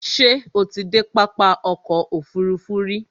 Ṣé o ti dé pápá ọkò òfurufú rí?